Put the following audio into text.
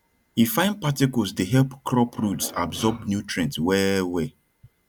e fine particles dey help crop roots absorb nutrient well well